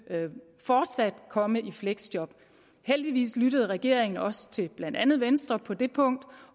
komme i fleksjob heldigvis lyttede regeringen også til blandt andet venstre på det punkt